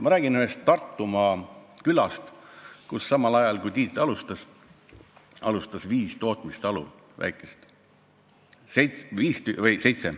Ma räägin ühest Tartumaa külast, kus samal ajal Tiiduga alustas seitse väikest tootmistalu.